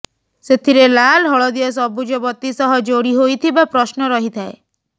ସେଥିରେ ଲାଲ ହଳଦିଆ ସବୁଜ ବତି ସହ ଯୋଡି ହୋଇଥିବା ପ୍ରଶ୍ନ ରହିଥାଏ